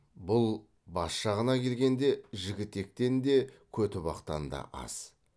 бұл бас жағына келгенде жігітектен де көтібақтан да аз